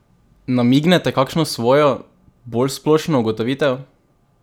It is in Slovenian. Namignete kakšno svojo, bolj splošno ugotovitev?